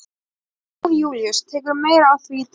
Jón Júlíus: Tekurðu meira á því í dag?